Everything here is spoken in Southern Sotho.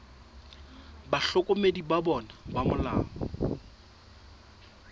bahlokomedi ba bona ba molao